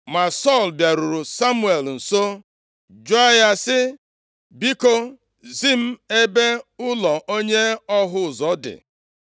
Ma Sọl bịaruru Samuel nso jụọ ya sị, “Biko, zi m ebe ụlọ onye ọhụ ụzọ dị.”